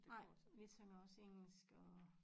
Nej vi synger også engelsk og